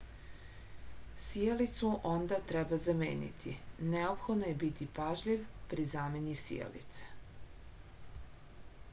sijalicu onda treba zameniti neophodno je biti pažljiv pri zameni sijalice